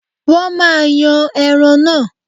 wọn maá yan ẹran náà.